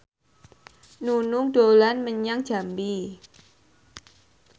Nunung dolan menyang Jambi